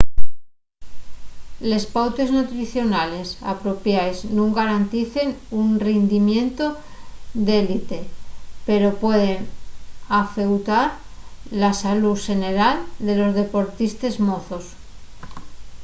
les pautes nutricionales apropiaes nun garanticen un rindimientu d'élite pero pueden afeutar la salú xeneral de los deportistes mozos